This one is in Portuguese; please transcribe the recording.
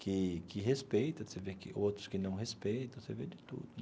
que que respeita você vê que outros que não respeita, você vê de tudo.